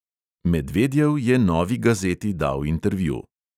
Medvedjev je novi gazeti dal intervju.